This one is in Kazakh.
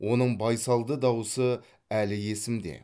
оның байсалды дауысы әлі есімде